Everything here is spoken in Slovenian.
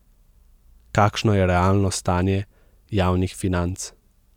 Kakšno je realno stanje javnih financ?